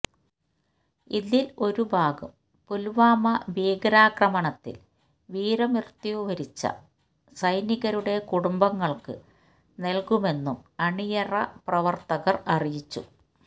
ഇതിൽ ഒരു ഭാഗം പുൽവാമ ഭീകരാക്രമണത്തിൽ വീരമൃത്യു വരിച്ച സൈനികരുടെ കുടുംബങ്ങൾക്ക് നൽകുമെന്നും അണിയറ പ്രവർത്തകർ അറിയിച്ചു